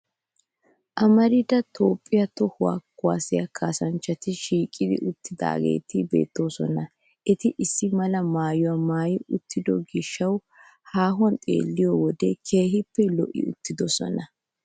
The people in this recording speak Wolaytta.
Amarida toophphiya toho kuwaasiya kaassanchchati shiiqi uttidaageeta beettoosona. Eti issi mala maayuwaa maayi uttido gishshawu haahuwan xeelliyoode keehin lo'i uttidosona.